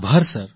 આભાર સર